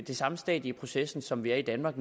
det samme stadie i processen som vi er i danmark